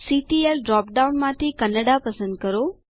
CTL drop down માંથી કન્નડા પસંદ કરો